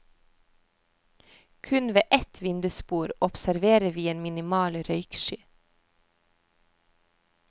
Kun ved ett vindusbord observerer vi en minimal røyksky.